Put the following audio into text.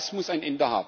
Das muss ein